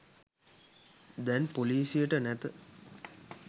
දැන් පොලිසියට නැත